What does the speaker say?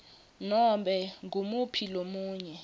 nobe ngumuphi lomunye